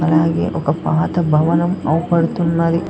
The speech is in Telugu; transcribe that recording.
అలాగే ఒక పాత భవనం అవుపడుతున్నది.